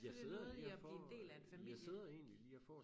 Jeg sidder lige og får øh jeg sidder egentlig lige og får